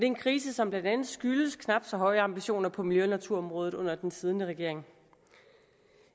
en krise som blandt andet skyldes knap så høje ambitioner på miljø og naturområdet under den siddende regering